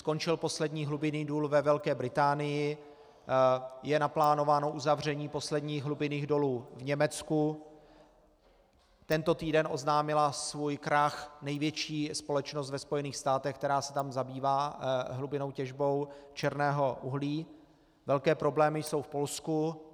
Skončil poslední hlubinný důl ve Velké Británii, je naplánováno uzavření posledních hlubinných dolů v Německu, tento týden oznámila svůj krach největší společnost ve Spojených státech, která se tam zabývá hlubinnou těžbou černého uhlí, velké problémy jsou v Polsku.